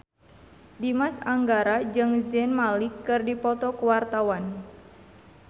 Dimas Anggara jeung Zayn Malik keur dipoto ku wartawan